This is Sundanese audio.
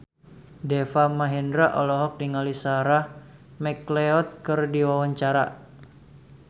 Deva Mahendra olohok ningali Sarah McLeod keur diwawancara